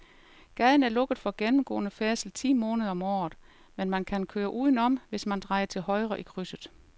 Gaden er lukket for gennemgående færdsel ti måneder om året, men man kan køre udenom, hvis man drejer til højre i krydset.